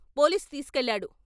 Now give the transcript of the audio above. Police తీస్కెళ్లాడు.